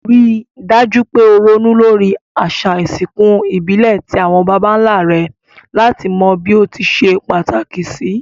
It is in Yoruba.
Rí dájú pe o ronú lórí àsà ìsinkù ìbílè ti àwon bàbánlá re làti bí o ti se pàtàkì sì